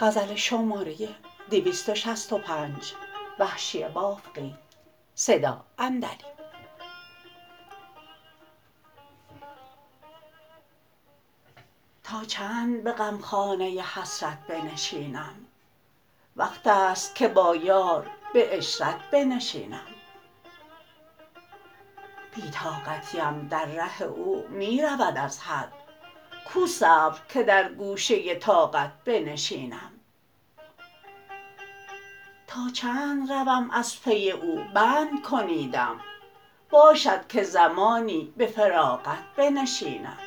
تا چند به غمخانه حسرت بنشینم وقتست که با یار به عشرت بنشینم بی طاقتیم در ره او می رود از حد کو صبر که در گوشه طاقت بنشینم تا چند روم از پی او بند کنیدم باشد که زمانی به فراغت بنشینم